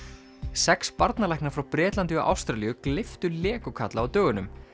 sex barnalæknar frá Bretlandi og Ástralíu gleyptu Lego kalla á dögunum